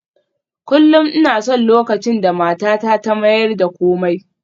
Kullum ina son lokacin da matata ta mayar da komai